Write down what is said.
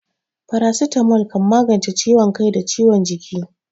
Farasitamol kan magance ciwon kai da ciwon jiki.